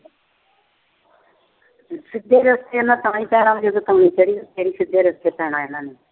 ਸਿੱਧੇ ਰਸਤੇ ਇਹਨਾਂ ਤਾਂ ਹੀ ਪੈਣਾ, ਫਿਰ ਹੀ ਸਿੱਧੇ ਰਸਤੇ ਤਾਂ ਹੀ ਪੈਣਾ ਇਹਨਾਂ ਨੇ।